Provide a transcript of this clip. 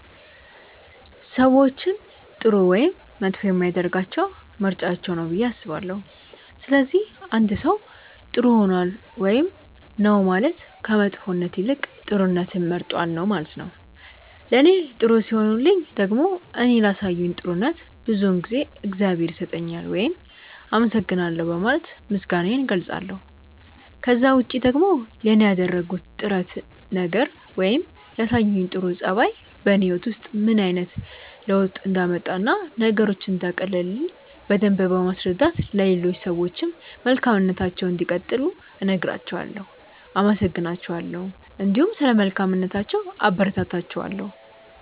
ሰዎችን ጥሩ ወይም መጥፎ የሚያደርጋቸው ምርጫቸው ነው ብዬ አስባለሁ። ስለዚህ አንድ ሰው ጥር ሆኗል ውይም ነው ማለት ከመጥፎነት ይልቅ ጥሩነትን መርጧል ነው ማለት ነው። ለኔ ጥሩ ሲሆኑልኝ ደግሞ እኔ ላሳዩኝ ጥሩነት ብዙውን ጊዜ እግዚአብሔር ይስጥልኝ ውይም አመሰግናለሁ በማለት ምስጋናዬን እገልጻለሁ። ከዛ ውጪ ደግሞ ለኔ ያደረጉት ጥረት ነገር ወይም ያሳዩኝ ጥሩ ጸባይ በኔ ህይወት ውስጥ ምን አይነት ለውጥ እንዳመጣ እና ነገሮችን እንዳቀለለልኝ በደምብ በማስረዳት ለሌሎች ሰዎችም መልካምነታቸውን እንዲቀጥሉ እነግራቸዋለው፣ አመሰግናቸዋለሁ እንዲሁም ስለ መልካምነታቸው አበረታታቸዋለሁ።